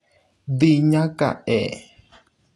dhi nyaka e